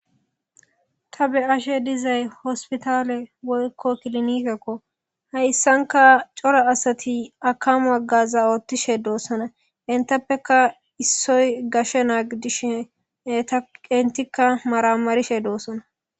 Taa be ashe dizay hospitale woykko kilinikekko hayssanka cora asati akamwaggaza oottishe doossona intappeka issoy gashshe naagidishe eta qentikka maramarishe doossona.